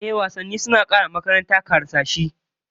Ehh, wasanni suna kara wa makaranta karsashi da walwala